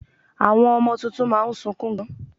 Àwọn ọmọ tuntun má a nsukun gan